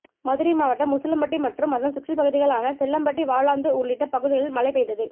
மதுரை மாவட்டம் உசிலம்பட்டி மற்றும் அதன் சுற்றுப்பகுதிகளான செல்லம்பட்டி வாலாந்தூர் உள்ளிட்ட பகுதிகளில் மழை பெய்தது